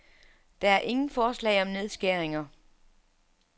Der er ingen forslag om nedskæringer.